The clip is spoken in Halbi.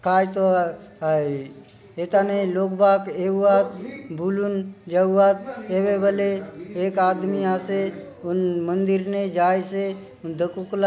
काय तो एताने लोक बाग एएउवअट भूलूँ जउवत ऐबे बोले एक आदमी आसे मंदिर ने जाइसे दकु कला --